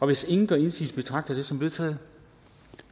hvis ingen gør indsigelse betragter jeg det som vedtaget